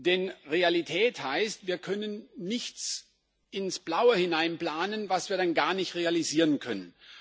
Denn Realität heißt, wir können nichts ins Blaue hinein planen, was wir dann gar nicht realisieren können.